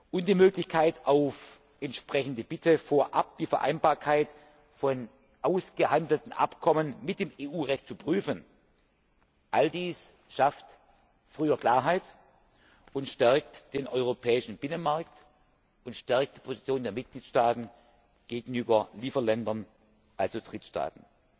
und die Möglichkeit, auf entsprechende Bitte vorab die Vereinbarkeit von ausgehandelten Abkommen mit dem EU Recht zu prüfen all dies schafft früher Klarheit und stärkt den europäischen Binnenmarkt und die Position der Mitgliedstaaten gegenüber Lieferländern, also Drittstaaten.